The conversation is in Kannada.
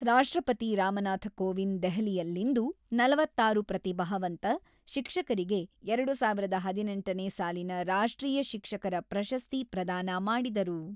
ರಾಷ್ಟ್ರಪತಿ ರಾಮನಾಥ ಕೋವಿಂದ್ ದೆಹಲಿಯಲ್ಲಿಂದು ನಲವತ್ತಾರು ಪ್ರತಿಭಾವಂತ ಶಿಕ್ಷಕರಿಗೆ ಎರಡು ಸಾವಿರದ ಹದಿನೆಂಟನೇ ಸಾಲಿನ ರಾಷ್ಟ್ರೀಯ ಶಿಕ್ಷಕರ ಪ್ರಶಸ್ತಿ ಪ್ರದಾನ ಮಾಡಿದರು.